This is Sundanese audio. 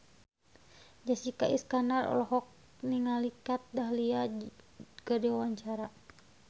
Jessica Iskandar olohok ningali Kat Dahlia keur diwawancara